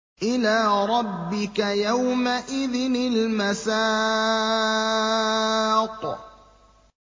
إِلَىٰ رَبِّكَ يَوْمَئِذٍ الْمَسَاقُ